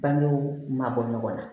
Bangew ma bɔ ɲɔgɔn na